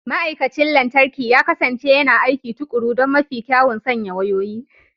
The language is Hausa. Ma'aikacin lantarki ya kasance yana aiki tuƙuru don mafi kyawun sanya wayoyi.